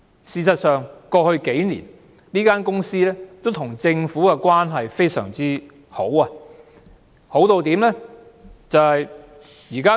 事實上，過去數年，這間公司跟政府的關係非常好，為甚麼我會這樣說呢？